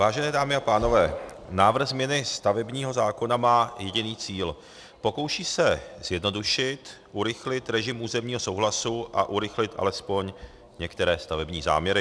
Vážené dámy a pánové, návrh změny stavebního zákona má jediný cíl: pokouší se zjednodušit, urychlit režim územního souhlasu a urychlit alespoň některé stavební záměry.